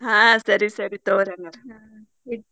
ಹಾ ಸರಿ ಸರಿ ತಗೋರಿ ಹಂಗಾರ.